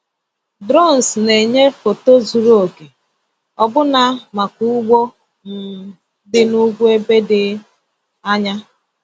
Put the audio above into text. Drones na-enye foto zuru oke ọbụna maka ugbo um dị n’ugwu ebe dị anya.